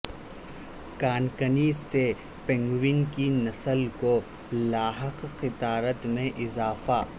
کان کنی سے پینگوئن کی نسل کو لاحق خطرات میں اضافہ